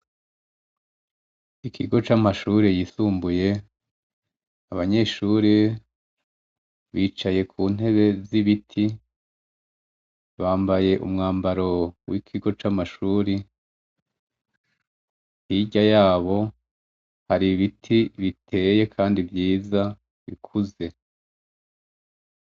Ikigo c'amashuri yisumbuye abanyeshuri bicaye ku ntebe z'ibiti bambaye umwambaro w'ikigo c'amashuri ntirya yabo hari ibiti biteye, kandi vyiza bikuze.